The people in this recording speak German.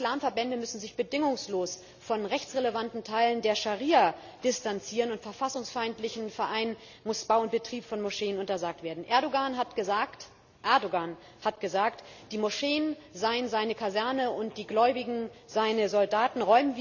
Alle Islamverbände müssen sich bedingungslos von rechtsrelevanten Teilen der Scharia distanzieren und verfassungsfeindlichen Vereinen muss Bau und Betrieb von Moscheen untersagt werden. Erdoğan hat gesagt, die Moscheen seien seine Kasernen und die Gläubigen seine Soldaten.